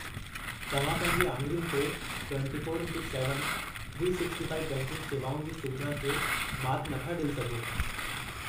तव्हां पंहिंजी आङरियुनि ते 24 ‍x 7, 365 बैंकिंग शेवाउनि जी सुविधा खे मात नथा ॾेई सघो।